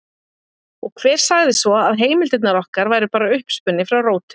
Og hver sagði svo að heimildirnar okkar væru bara uppspuni frá rótum?